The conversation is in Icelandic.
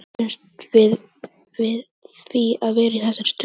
En bjuggumst við við því að vera í þessari stöðu?